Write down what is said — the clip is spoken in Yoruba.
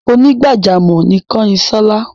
Onígbàjámọ̀ ni Kányinṣọ́lá.